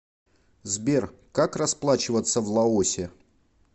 сбер как расплачиваться в лаосе